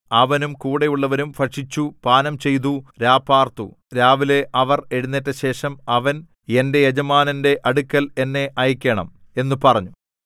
അവനും കൂടെയുള്ളവരും ഭക്ഷിച്ചു പാനംചെയ്തു രാപാർത്തു രാവിലെ അവർ എഴുന്നേറ്റശേഷം അവൻ എന്റെ യജമാനന്റെ അടുക്കൽ എന്നെ അയക്കേണം എന്നു പറഞ്ഞു